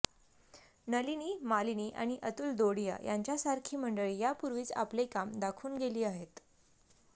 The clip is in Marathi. नलिनी मालिनी आणि अतुल दोडिया यांच्यासारखी मंडळी या पूर्वीच आपले काम दाखवून गेली आहेत